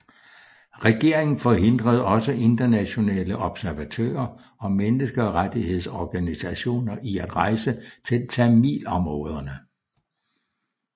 Regeringen forhindrede også internationale observatører og menneskerettighedsorganisationer i at rejse til tamilområderne